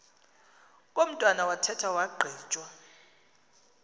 komntwana wathethwa wagqitywa